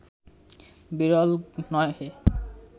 বিরল নহে